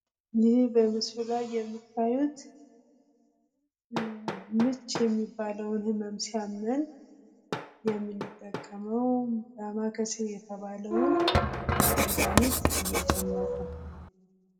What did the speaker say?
ይህ በምስሉ ላይ የምታዩት ምች የሚባለውን ህመም ሲያመን ዳማከሴ የተባለውን መድሃኒት እየጨመቁ ነው።